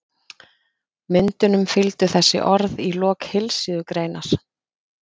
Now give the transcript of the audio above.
Myndunum fylgdu þessi orð í lok heilsíðugreinar